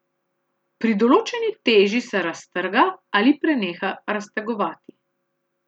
Pri določeni teži se raztrga ali preneha raztegovati.